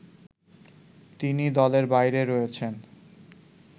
তিনি দলের বাইরে রয়েছেন